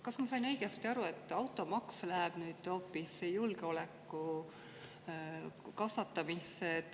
Kas ma sain õigesti aru, et automaks läheb nüüd hoopis julgeoleku kasvatamiseks?